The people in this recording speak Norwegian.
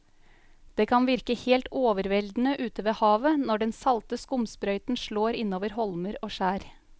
Det kan virke helt overveldende ute ved havet når den salte skumsprøyten slår innover holmer og skjær.